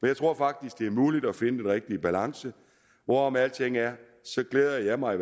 jeg tror faktisk det er muligt at finde den rigtige balance hvorom alting er glæder jeg mig i